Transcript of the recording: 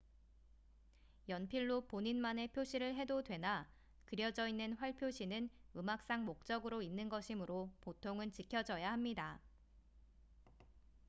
연필로 본인만의 표시를 해도 되나 그려져 있는 활 표시는 음악상 목적으로 있는 것이므로 보통은 지켜져야 합니다